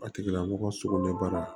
A tigila mɔgɔ sugunɛbara